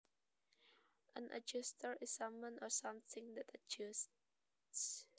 An adjustor is someone or something that adjusts